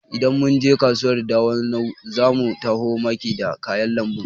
Idan mun je kasuwar Dawanau zamu taho maki da kayan lambu